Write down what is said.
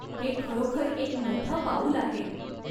हे खरोखर एक मोठं पाऊल आहे!